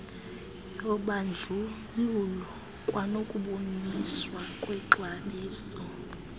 yobandlululo kwanokubonakaliswa kwexabiso